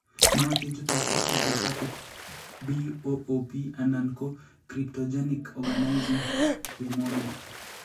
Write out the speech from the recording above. Nootin chutok kou idiopathic BOOP anan ko cryptogenic organizing pneumonia.